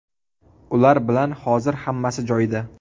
Ular bilan hozir hammasi joyida.